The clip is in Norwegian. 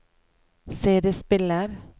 CD-spiller